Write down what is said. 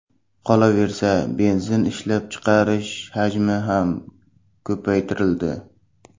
Qolaversa, benzin ishlab chiqarish hajmi ham ko‘paytirildi.